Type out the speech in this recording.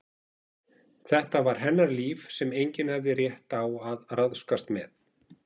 Þetta var hennar líf sem enginn hafði rétt á að ráðskast með.